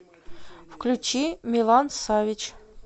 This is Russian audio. включи милан савич